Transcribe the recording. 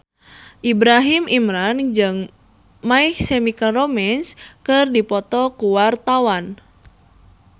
Ibrahim Imran jeung My Chemical Romance keur dipoto ku wartawan